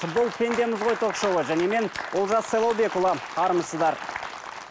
бұл пендеміз ғой ток шоуы және мен олжас сайлаубекұлы армысыздар